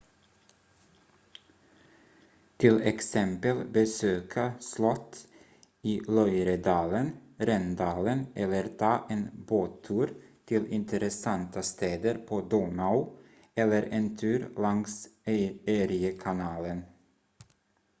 till exempel besöka slott i loiredalen rhendalen eller ta en båttur till intressanta städer på donau eller en tur längs eriekanalen